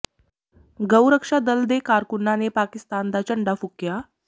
ਗਊੁ ਰਕਸ਼ਾ ਦਲ ਦੇ ਕਾਰਕੁੰਨਾਂ ਨੇ ਪਾਕਿਸਤਾਨ ਦਾ ਝੰਡਾ ਫੂਕਿਆ